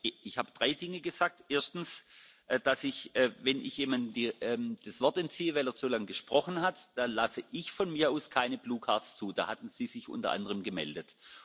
Ich habe drei Dinge gesagt. Erstens, dass ich, wenn ich jemandem das Wort entziehe, weil er zu lange gesprochen hat, dann lasse ich von mir aus keine blaue Karte zu. Da hatten Sie sich unter anderem gemeldet.